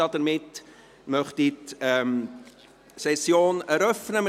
Damit möchte ich die Session eröffnen.